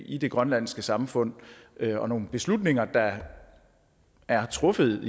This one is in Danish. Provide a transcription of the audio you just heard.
i det grønlandske samfund og nogle beslutninger der er truffet